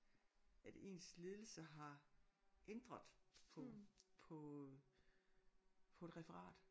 At ens ledelse har ændret på på på et referat